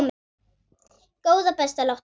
Góða besta láttu ekki svona!